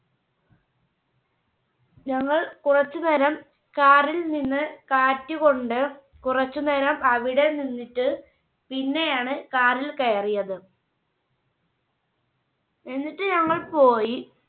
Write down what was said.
ഞങ്ങൾ കുറച്ചുനേരം Car ൽ നിന്ന് കാറ്റ് കൊണ്ട് കുറച്ചുനേരം അവിടെ നിന്നിട്ട് പിന്നെയാണ് Car ൽ കയറിയത്. എന്നിട്ട് ഞങ്ങൾ പോയി.